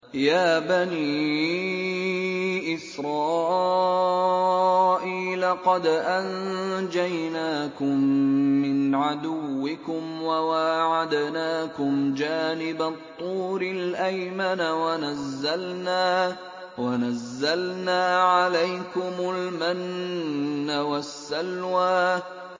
يَا بَنِي إِسْرَائِيلَ قَدْ أَنجَيْنَاكُم مِّنْ عَدُوِّكُمْ وَوَاعَدْنَاكُمْ جَانِبَ الطُّورِ الْأَيْمَنَ وَنَزَّلْنَا عَلَيْكُمُ الْمَنَّ وَالسَّلْوَىٰ